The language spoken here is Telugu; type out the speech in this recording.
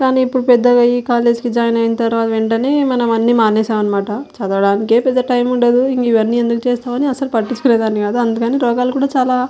కానీ ఇప్పుడు పెద్దగా ఈ కాలేజ్ కి జాయిన్ అయిన తర్వాత వెంటనే మనం అన్నీ మానేసాం అన్నమాట చదవడానికి పెద్ద టైం ఉండదు ఇంక ఇవ్వని ఎందుకు చేస్తామని అసలు పట్టించుకునే దాన్ని కాదు అందుకని రోగాలు కూడ చాల --